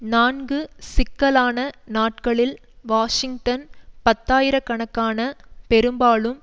நான்கு சிக்கலான நாட்களில் வாஷிங்டன் பத்தாயிர கணக்கான பெரும்பாலும்